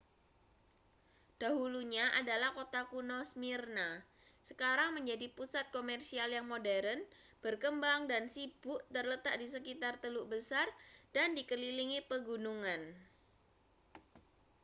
dahulunya adalah kota kuno smyrna sekarang menjadi pusat komersial yang modern berkembang dan sibuk terletak di sekitar teluk besar dan dikelilingi pegunungan